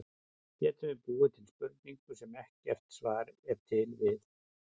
Getum við búið til spurningu, sem ekkert svar er til við?